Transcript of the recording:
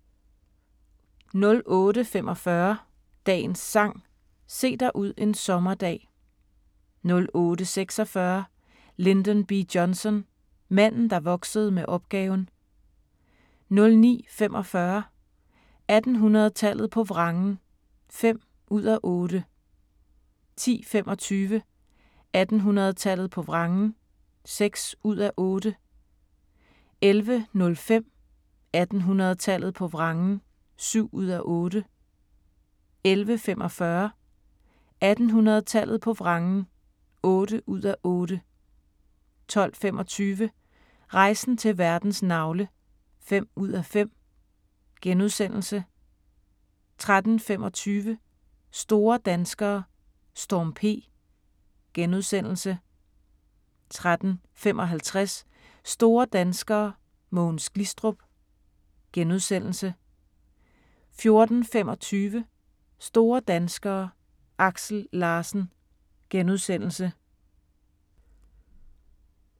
08:45: Dagens Sang: Se dig ud en sommerdag 08:46: Lyndon B. Johnson – manden der voksede med opgaven 09:45: 1800-tallet på vrangen (5:8) 10:25: 1800-tallet på vrangen (6:8) 11:05: 1800-tallet på vrangen (7:8) 11:45: 1800-tallet på vrangen (8:8) 12:25: Rejsen til verdens navle (5:5)* 13:25: Store danskere: Storm P * 13:55: Store danskere: Mogens Glistrup * 14:25: Store danskere: Aksel Larsen *